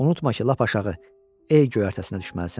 Unutma ki, lap aşağı, ey göyərtəsinə düşməlisən.